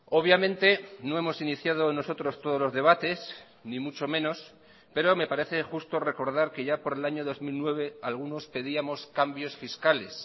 obviamente no hemos iniciado nosotros todos los debates ni mucho menos pero me parece justo recordar que ya por el año dos mil nueve algunos pedíamos cambios fiscales